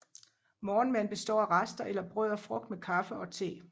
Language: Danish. Morgenmaden består af rester eller brød og frugt med kaffe og te